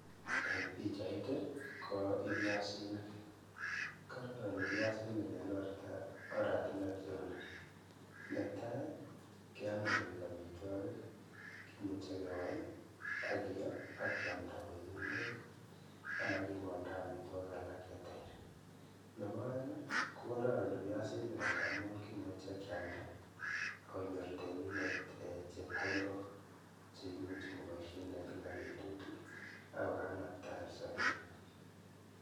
En pichait i ko ibiasinik, kororon biasinik en oratinwek cheuni, netaa kiome koik amitwokik, kimuche kewai, akiyoo akiamnda koik ing'wek anan king'olda amitwokik alak cheter, nebo oeng kokororon biasinik amun kimuche kialda akonyor temindet chepkondok cheimuche koboishen en kilak betut akokanabtaen sobenyin.